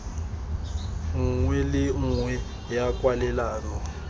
nngwe le nngwe ya kwalelano